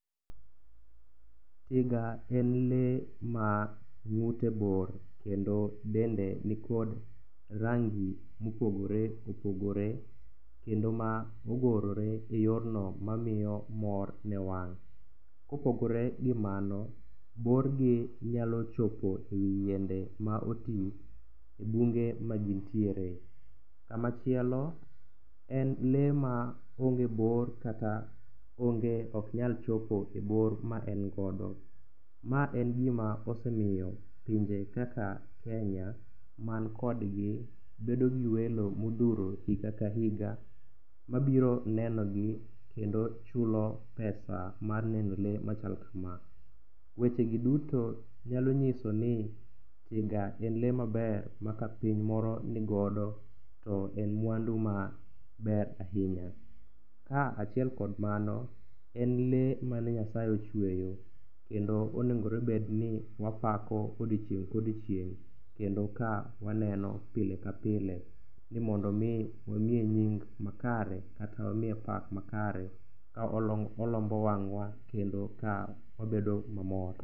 Tiga en lee ma ng'ute bor, kendo dende nikod rangi ma opogore opogore, kendo ma ogorore e yorno mamiyo mor ne wang'. Kopogore gi mano, borgi nyalo chopo yiende ma oti e bunge ma gin tiere. To machielo, en lee ma onge bor, kata onge, ok nyal chopo e bor ma en godo. Ma en gima osemiyo pinje kaka Kenya man kodgi bedo gi welo ma odhuro higa ka higa. Mabiro neno le, kendo chulo pesa, mar neno le machal kama. Wechegi duto nyalo nyiso ni tiga en lee maber ma ka piny moro nigodo to en mwandu maber ahinya. Ka achiel kod mano en lee mane Nyasaye ochweyo kendo onegore bed ni wapako odiechieng' ka odiechieng', kendo ka waneno pile ka pile ni mondo omi wamiye nying makare, kata mamiye pak makare ka olombo wang'wa, kendo ka wabedo mamor.